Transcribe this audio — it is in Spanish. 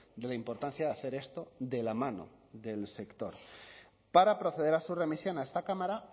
de la importancia de hacer esto de la mano del sector para proceder a su remisión a esta cámara